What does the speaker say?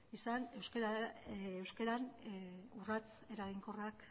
izan euskeran urrats eraginkorrak